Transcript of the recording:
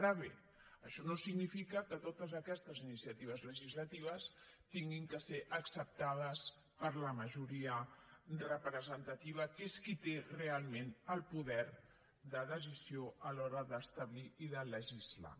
ara bé això no significa que totes aquestes iniciatives legislatives hagin de ser acceptades per la majoria representativa que és qui té realment el poder de decisió a l’hora d’establir i de legislar